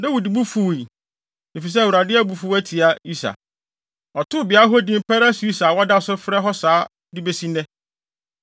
Dawid bo fuwii, efisɛ Awurade abufuw atia Usa. Ɔtoo beae hɔ din Peres-Usa a wɔda so frɛ hɔ saa de besi nnɛ.